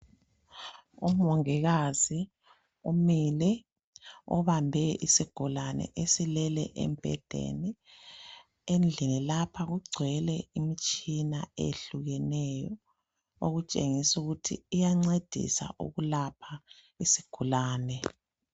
umongikazi umile ubambe isigulane esilele embhedeni endlini lapha kugcwele imitshina eyehlukeneyo okutshengisela ukuthi iyancedisa ukulapha isigulane